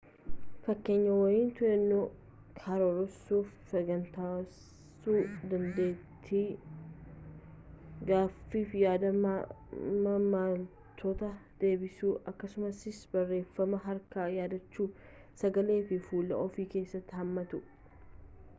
fakkeenyonni to'annaa karoorsuu fi saganteessuu dandeetti gaafiif yaada maamiltoota deebisuu akkasumas barreeffama harkaa yaadachuu sagalee fi fuula of keessatti hammatu